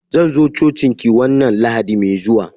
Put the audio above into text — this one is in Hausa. Zan zo cocin ki wanna lahadi mai zuwa.